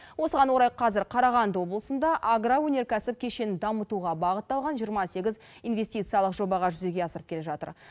осыған орай қазір қарағанды облысында агроөнеркәсіп кешенін дамытуға бағытталған жиырма сегіз инвестициялық жобаға жүзеге асырып келе жатыр